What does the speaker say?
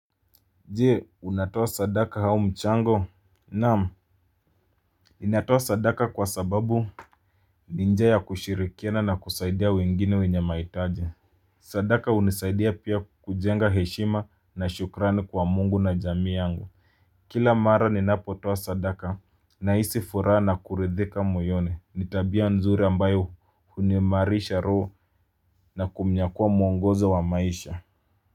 Je unatoa sadaka hau mchango. Naam ninatoa sadaka kwa sababu ni njia ya kushirikiana na kusaidia wengine wenye maitaji. Sadaka unisaidia pia kujenga heshima na shukrani kwa mungu na jamii yangu. Kila mara ninapotoa sadaka nahisi furaha na kuridhika moyoni ni tabia nzuri ambayo huniimarisha roho na kumnyakua muongozo wa maisha.